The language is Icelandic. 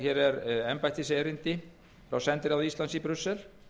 hér er embættiserindi frá sendiráði íslands í brussel